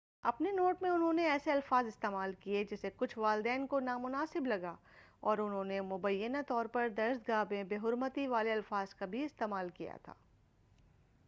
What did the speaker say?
اپنے نوٹ میں انہوں نے ایسے الفاظ استعمال کیے جسے کچھ والدین کو نامناسب لگا اور انہوں نے مبینہ طور پر درسگاہ میں بےحرمتی والے الفاظ کا بھی استعمال کیا تھا